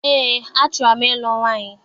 Eé, achọrọ m ịlụ nwaanyị.